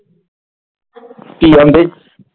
ਕੀ ਆਖਦੀ?